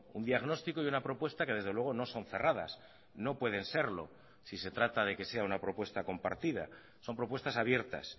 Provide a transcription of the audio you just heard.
un diagnóstico y una propuesta que desde luego no son cerradas no pueden serlo si se trata de que sea una propuesta compartida son propuestas abiertas